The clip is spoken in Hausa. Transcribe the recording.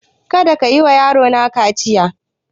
Kada kayi wa yaro na kaciya!